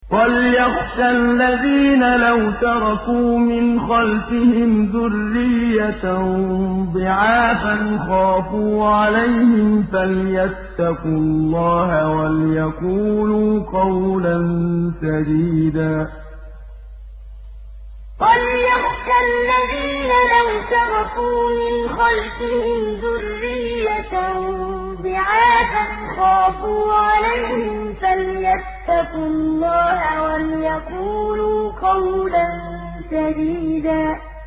وَلْيَخْشَ الَّذِينَ لَوْ تَرَكُوا مِنْ خَلْفِهِمْ ذُرِّيَّةً ضِعَافًا خَافُوا عَلَيْهِمْ فَلْيَتَّقُوا اللَّهَ وَلْيَقُولُوا قَوْلًا سَدِيدًا وَلْيَخْشَ الَّذِينَ لَوْ تَرَكُوا مِنْ خَلْفِهِمْ ذُرِّيَّةً ضِعَافًا خَافُوا عَلَيْهِمْ فَلْيَتَّقُوا اللَّهَ وَلْيَقُولُوا قَوْلًا سَدِيدًا